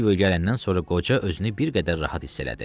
Silvion gələndən sonra qoca özünü bir qədər rahat hiss elədi.